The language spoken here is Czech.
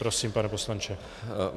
Prosím, pane poslanče.